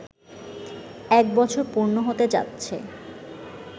এক বছর পূর্ণ হতে যাচ্ছে